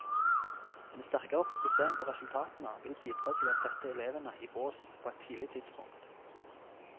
En sterkere fokusering på resultatene vil bidra til å sette elevene i bås på et tidlig tidspunkt.